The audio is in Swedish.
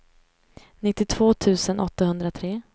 nittiotvå tusen åttahundratre